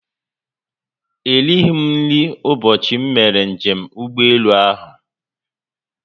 Erighi m nri ụbọchị m mere njem ụgbọelu ahụ